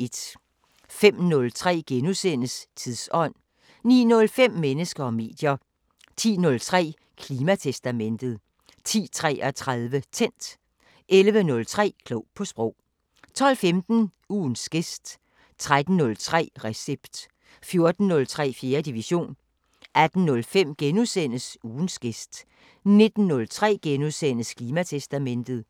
05:03: Tidsånd * 09:05: Mennesker og medier 10:03: Klimatestamentet 10:33: Tændt 11:03: Klog på Sprog 12:15: Ugens gæst 13:03: Recept 14:03: 4. division 18:05: Ugens gæst * 19:03: Klimatestamentet *